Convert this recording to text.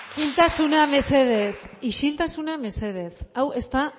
isiltasuna mesedez isiltasuna mesedez hau ez da